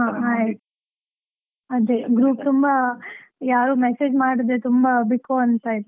ಹಾ ಆಯ್ತ್, ಅದೇ group ತುಂಬಾ ಯಾರು message ಮಾಡದೇ, ತುಂಬಾ ಬಿಕೋ ಅಂತಾ ಇತ್ತು .